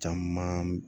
Caman